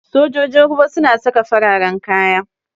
Sojojin ruwa suna saka fararan kaya.